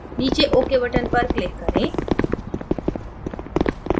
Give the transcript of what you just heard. नीचे ok button पर click करें